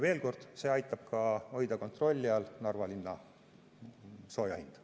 Veel kord: see aitab hoida kontrolli all ka Narva linna sooja hinda.